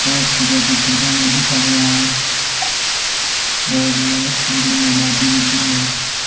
Poster पे कुछ शब्दों में लिखा गया है और ये अच्छी बिल्डिंग है मोटी बिल्डिंग है।